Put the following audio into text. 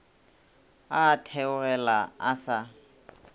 a a theogela a sa